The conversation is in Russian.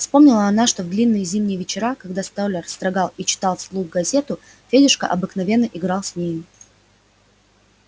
вспомнила она что в длинные зимние вечера когда столяр строгал или читал вслух газету федюшка обыкновенно играл с нею